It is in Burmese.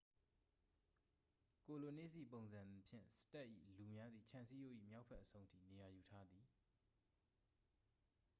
ကိုလိုနစ်၏ ပုံစံဖြင့် စတ့ပ်၏ လူများသည် ခြံစည်းရိုး၏ မြောက်ဘက်အဆုံးထိ နေရာယူထားသည်